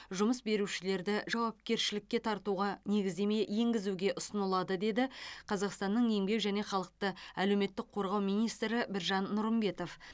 жұмыс берушілерді жауапкершілікке тартуға негіздеме енгізуге ұсынылады деді қазақстанның еңбек және халықты әлеуметтік қорғау министрі біржан нұрымбетов